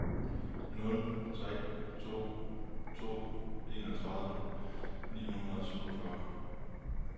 nul tre to to enogtredive ni hundrede og syvogfyrre